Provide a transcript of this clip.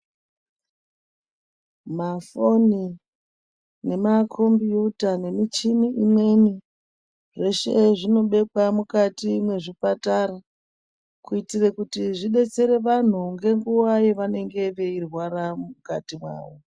Mafoni nema kombiyuta nemichini imweni, zveshe zvinobekwa mukati mwechipatara kuitira kuti zvidetsere vantu ngenguwa yevanenge veirwara mukatimawo.